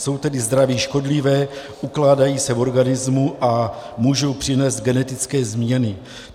Jsou tedy zdraví škodlivé, ukládají se v organismu a můžou přinést genetické změny.